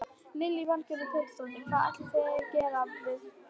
Lillý Valgerður Pétursdóttir: Hvað ætlið þið að gera við það?